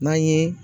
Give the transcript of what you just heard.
N'an ye